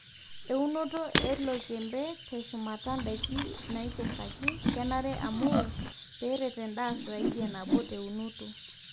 eunoto e oloikembe te shumata daiki naikesaki kenare amu peeret endaa zaidi enabo teeunoto